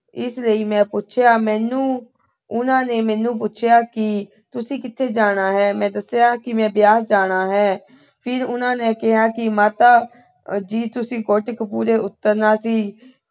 ਇਸ ਲਈ ਮੈਂ ਪੁੱਛਿਆ ਮੈਨੂੰ ਅਹ ਉਹਨਾਂ ਨੇ ਮੈਨੂੰ ਪੁੱਛਿਆ ਕਿ ਤੁਸੀਂ ਕਿੱਥੇ ਜਾਣਾ ਹੈ। ਮੈਂ ਦੱਸਿਆ ਕਿ ਮੈਂ ਬਿਆਸ ਜਾਣਾ ਹੈ। ਫਿਰ ਉਹਨਾਂ ਨੇ ਕਿਹਾ ਕਿ ਮਾਤਾ ਜੀ ਤੁਸੀਂ ਕੋਟਕਪੂਰੇ ਉਤਰਨਾ ਸੀ।